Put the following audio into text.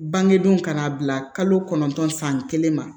Bangedonw kana bila kalo kɔnɔntɔn san kelen ma